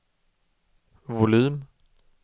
volym